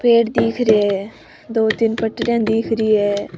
पेड़ दिख रिया है दो तीन पटरिया दिख रही है।